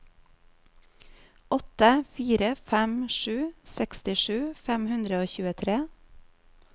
åtte fire fem sju sekstisju fem hundre og tjuetre